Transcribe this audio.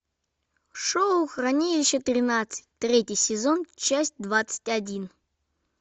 шоу хранилище тринадцать третий сезон часть двадцать один